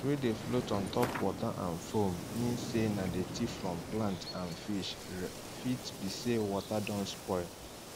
things wey dey float on top water and foam mean say na dirty from plant and fish r fit be say water don spoil